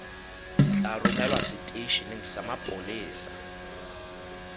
tla romelwa seteisheneng sa mapolesa